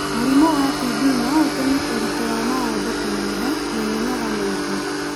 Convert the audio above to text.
Mũrimũ wa TB no ũtũme ũritũ wa mũndũ kũnyiha na mĩnoga mĩingĩ.